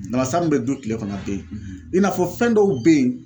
Namasa min bɛ dun kile kɔnɔ a ten yen, i n'a fɔ fɛn dɔw be yen.